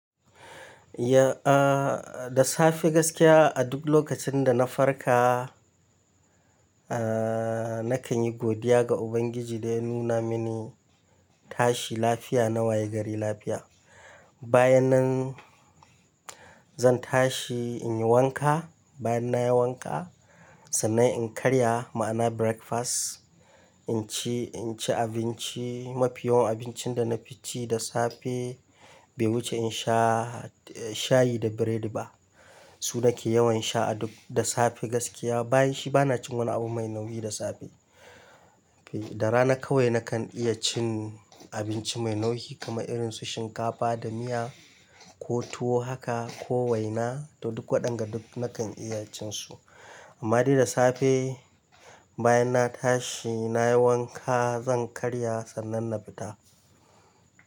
Ya, aa da safe gaskiya a duk lokacin da na farka, aa nakan yi godiya ga Ubangiji da ya nuna mini tashi lafiya na waye gari lafiya. Bayanan zan tashi in yi wanka, bayan na yi wanka sannan in karya ma'ana breakfast in ci, in ci abinci. Ya, aa da safe gaskiya a duk lokacin da na farka, aa nakan yi godiya ga Ubangiji da ya nuna mini tashi lafiya na waye gari lafiya. Su nake yawan sha a duk da safe gaskiya. Bayan shi ba na cin wani abun mai nauyi da safe da rana kawai nakan iya cin abinci mai nauyi kamar irin su shinkafa da miya ko tuwo haka, ko waina to duk wadanga nakan iya cin su madarin safe bayan na tashi, nayi wanka zan karya san'nan na fita.